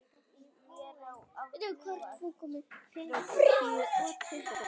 Verði hún Guði falin.